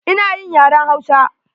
Ina yin yaren Hausa.